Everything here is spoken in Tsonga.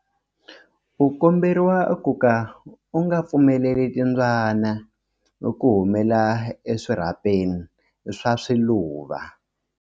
U komberiwa ku ka u nga pfumeleli timbyana ku humela eswirhapeni swa swiluva.